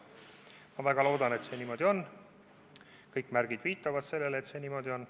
Ma väga loodan, et see niimoodi on, kõik märgid viitavad, et see niimoodi on.